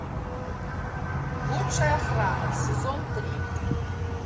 лучшая охрана сезон три